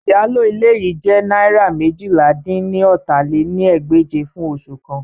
Iyalo ile yii jẹ naira meéjìlá-dín-ní-ọ́ta lé ní ẹgbẹ́je fun oṣu kan